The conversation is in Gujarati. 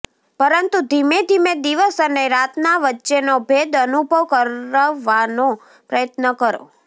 પરંતુ ધીમેધીમે દિવસ અને રાતના વચ્ચેનો ભેદ અનુભવ કરાવવાનો પ્રયત્ન કરો